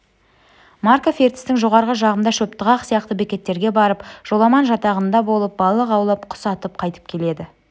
марков ертістің жоғарғы жағында шөптіғақ сияқты бекеттерге барып жоламан жатағында болып балық аулап құс атып қайтып келеді